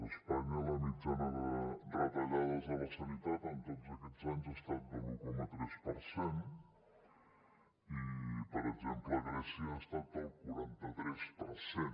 a espanya la mitjana de retallades a la sanitat en tots aquests anys ha estat de l’un coma tres per cent i per exemple a grècia ha estat el quaranta tres per cent